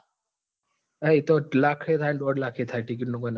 હા એતો લાખ એ થાય ને દોડ લાખ એ થાય ticket નું કોઈ નક્કી નાં થાય.